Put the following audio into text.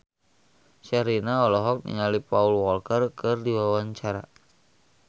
Sherina olohok ningali Paul Walker keur diwawancara